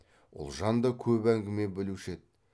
ұлжан да көп әңгіме білуші еді